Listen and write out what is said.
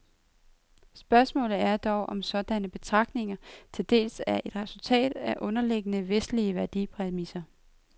Spørgsmålet er dog, om sådanne betragtninger til dels er et resultat af underliggende, vestlige værdipræmisser.